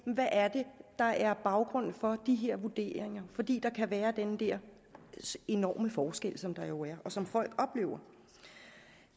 er der er baggrunden for de her vurderinger fordi der kan være den der enorme forskel som der jo er og som folk oplever